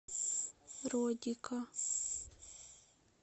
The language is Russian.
родика